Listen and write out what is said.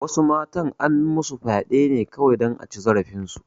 Wasu matan an masu fyaɗe ne kawai dan a ci zarafin su